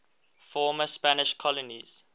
former spanish colonies